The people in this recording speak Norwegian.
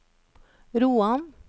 Roan